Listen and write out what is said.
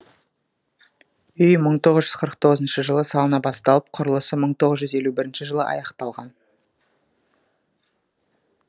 үй мың тоғыз жүз қырық тоғызыншы жылы салына басталып құрылысы мың тоғыз жүз елу бірінші жылы аяқталған